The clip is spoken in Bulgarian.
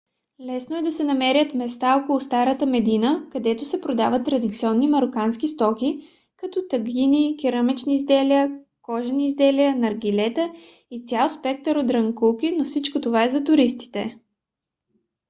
лесно да се намерят места около старата медина където се продават традиционни марокански стоки като тагини керамични изделия кожени изделия наргилета и цял спектър от дрънкулки но всичко това е за туристите